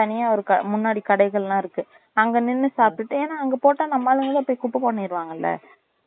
தனியா இருக்கு முன்னாடி கடைகலாம் இருக்கு அங்க நின்னு சாப்ட்டுட்டு ஏனா அங்க போட்ட நம்ம ஆளுகலாம் அப்டியே குப்பை பண்ணிருவாங்கள